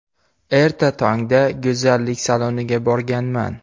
Erta tongda go‘zallik saloniga borganman.